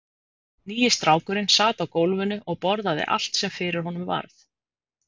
Nýi strákurinn sat á gólfinu og borðaði allt sem fyrir honum varð.